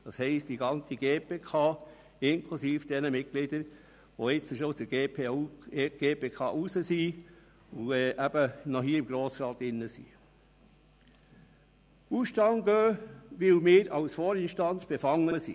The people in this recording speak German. Das heisst, dass die ganze GPK inklusive ihrer Mitglieder, die jetzt der GPK nicht mehr angehören, aber noch im Grossen Rat sind, in den Ausstand tritt, weil wir als Vorinstanz befangen sind.